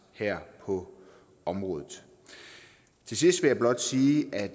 her på området til sidst vil jeg blot sige at